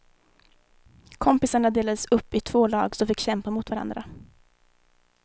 Kompisarna delades upp i två lag som fick kämpa mot varandra.